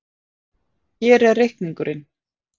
Hér er reikningurinn.